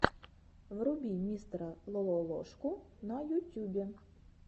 вруби мистера лололошку на ютюбе